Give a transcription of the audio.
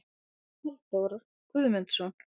Halldór Guðmundsson.